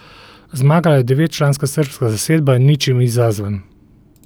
Zmagala je devetčlanska srbska zasedba Ničim izazvan.